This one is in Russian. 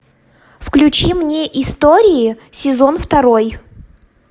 включи мне истории сезон второй